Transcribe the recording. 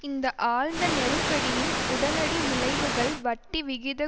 இந்த ஆழ்ந்த நெருக்கடியின் உடனடி விளைவுகள் வட்டிவிகித